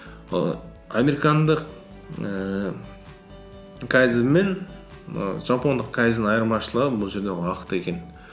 і американдық ііі кайдзен мен і жапондық кайдзеннің айырмашылығы бұл жерде ол уақыт екен